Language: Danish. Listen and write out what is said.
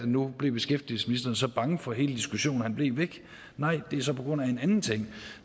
nu blev beskæftigelsesministeren så bange for hele diskussionen at han blev væk nej det er så på grund af en anden ting